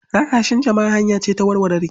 Rarrashin jama'a hanya ce ta warware rikici.